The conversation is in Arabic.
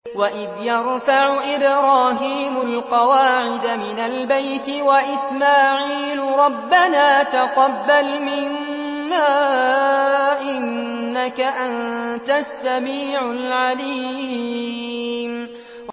وَإِذْ يَرْفَعُ إِبْرَاهِيمُ الْقَوَاعِدَ مِنَ الْبَيْتِ وَإِسْمَاعِيلُ رَبَّنَا تَقَبَّلْ مِنَّا ۖ إِنَّكَ أَنتَ السَّمِيعُ الْعَلِيمُ